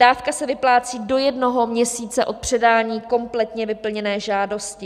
Dávka se vyplácí do jednoho měsíce od předání kompletně vyplněné žádosti.